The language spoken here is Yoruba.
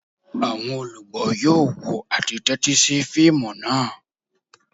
Àwọn olugbo yoo wo ati tẹtisi fiimu naa.